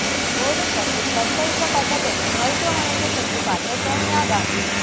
ஓடும் பஸ்ஸில் கற்பழிக்கப்பட்ட பெண்ணை மருத்துவமனைக்கு சென்று பார்த்த சோனியா காந்தி